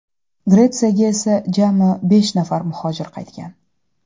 Gretsiyaga esa jami besh nafar muhojir qaytgan.